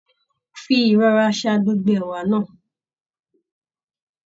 Fí ìṣọrà ṣà gbogbo ẹ̀wà náà!